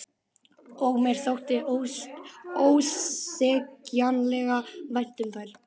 Og mér þótti ósegjanlega vænt um þær.